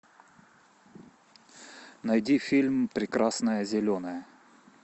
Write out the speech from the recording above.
найди фильм прекрасное зеленое